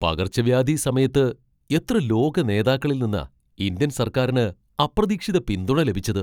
പകർച്ചവ്യാധി സമയത്ത് എത്ര ലോക നേതാക്കളിൽ നിന്നാ ഇന്ത്യൻ സർക്കാരിന് അപ്രതീക്ഷിത പിന്തുണ ലഭിച്ചത്!